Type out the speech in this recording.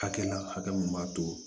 Hakɛ la hakɛ mun b'a to